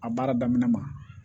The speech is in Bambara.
A baara daminɛ ma